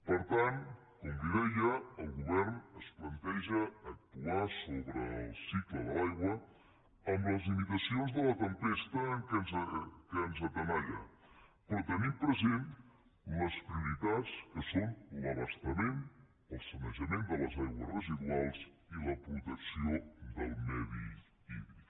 per tant com li deia el govern es planteja actuar sobre el cicle de l’aigua amb les limitacions de la tempesta que ens tenalla però tenint present les prioritats que són l’abastament el sanejament de les aigües residuals i la protecció del medi hídric